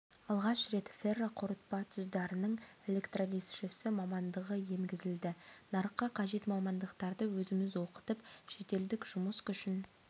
алғаш рет ферроқорытпа тұздарының электролизшісі мамандығы енгізілді нарыққа қажет мамандықтарды өзіміз оқытып шетелдік жұмыс күшін